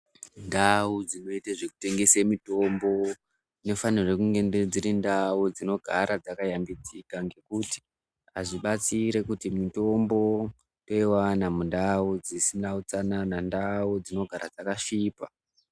Ndau dzinotengese mitombo dzinofanirwe kugara dziri ndau dzakayambidzika ngekuti hazvibatsire kuti mitombo toiwana mundau dzisina utsanana, ndau dzinogara dzakasvipa.